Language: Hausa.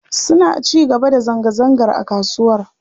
Suna ci gaba da zanga-zangar a kasuwar.